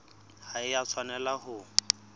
ha e a tshwanela ho